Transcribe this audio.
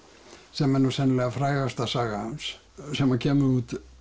sem er nú sennilega frægasta saga hans sem kemur út